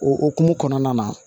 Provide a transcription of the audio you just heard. O hukumu kɔnɔna na